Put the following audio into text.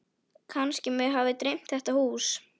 Kannski mig hafi dreymt þetta hús.